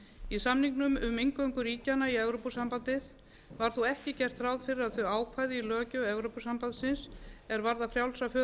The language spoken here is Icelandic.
í samningnum um inngöngu ríkjanna í evrópusambandið var þó ekki gert ráð fyrir að þau ákvæði í löggjöf evrópusambandsins er varðar frjálsa för